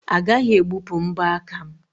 Agaghị egbupụ mbọ aka m.